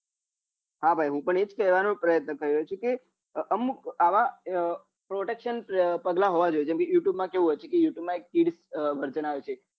હા ભાઈ હું પણ એજ કેવાણો પ્રયત્ન કરી રહ્યો છું કે અમુક આવા protection પગલાં હોવા જોઈએ જેમ કે youtube માં કેવું હોય છે કે youtube માં એક kids version આયો છે